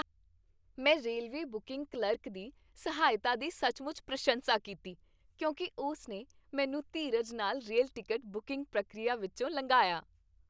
ਮੈਂ railway booking clerk ਦੀ ਸਹਾਇਤਾ ਦੀ ਸੱਚਮੁੱਚ ਪ੍ਰਸ਼ੰਸਾ ਕੀਤੀ ਕਿਉਂਕਿ ਉਸ ਨੇ ਮੈਨੂੰ ਧੀਰਜ ਨਾਲ ਰੇਲ ਟਿਕਟ ਬੁਕਿੰਗ ਪ੍ਰਕਿਰਿਆ ਵਿਚੋਂ ਲਘਾਇਆ।